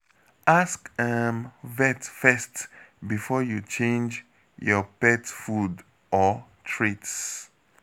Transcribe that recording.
Ask um vet first before you change your pet food or treats.